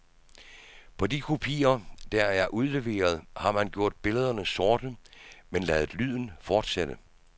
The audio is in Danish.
På de kopier, der er udleveret, har man gjort billederne sorte men ladet lyden fortsætte.